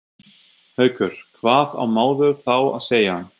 Haukur: Hvað á maður þá að segja?